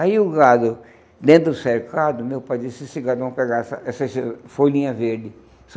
Aí o gado, dentro do cercado, meu pai disse, esse gado vão pegar essa essas folhinhas verdes.